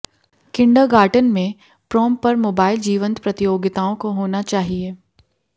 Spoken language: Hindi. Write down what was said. किंडरगार्टन में प्रोम पर मोबाइल जीवंत प्रतियोगिताओं होना चाहिए